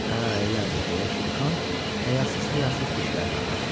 Hə, elədir, deyə Şirxan həyasız-həyasız dişlərini ağartdı.